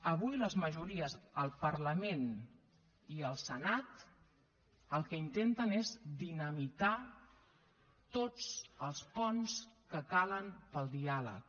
avui les majories al parlament i al senat el que intenten és dinamitar tots els ponts que calen per al diàleg